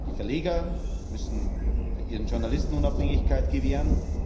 Die Verleger müssen ihren Journalisten Unabhängigkeit gewähren.